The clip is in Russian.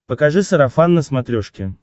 покажи сарафан на смотрешке